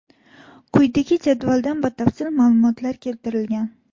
Quyidagi jadvalda batafsil ma’lumotlar keltirilgan.